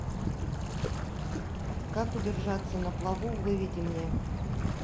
как удержаться на плаву выведи мне